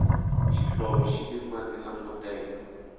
xihlovo xini mati lamo tenga